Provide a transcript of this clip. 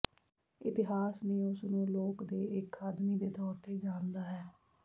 ਇਤਿਹਾਸ ਨੇ ਉਸ ਨੂੰ ਲੋਕ ਦੇ ਇੱਕ ਆਦਮੀ ਦੇ ਤੌਰ ਤੇ ਜਾਣਦਾ ਹੈ